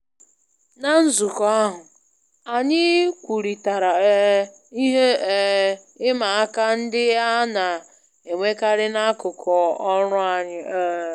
Ná nzukọ ahụ, anyị kwurịtara um ihe um ịma aka ndị a na-enwekarị n'akụkụ ọrụ anyị um